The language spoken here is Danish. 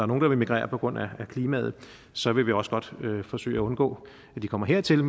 nogen der vil migrere på grund af klimaet så vil vi også godt forsøge at undgå at de kommer hertil og